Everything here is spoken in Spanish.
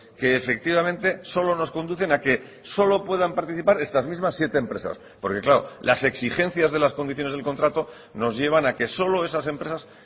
que efectivamente solo nos conducen a que solo puedan participar estas mismas siete empresas porque claro las exigencias de las condiciones del contrato nos llevan a que solo esas empresas